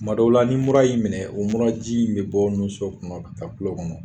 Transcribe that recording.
Tumadɔw la, ni mura y'i minɛ o, mura ji in bɛ bɔ nunso kɔnɔ ka taa tulo kɔnɔ.